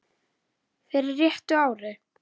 fyrir réttu ári.